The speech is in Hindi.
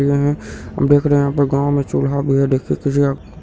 देख रहे है गांव में चूल्हा भी